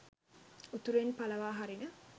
උතුරෙන් පලවා හරින